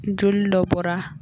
Joli dɔ bɔra